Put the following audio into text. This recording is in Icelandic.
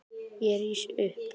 Ég rís upp.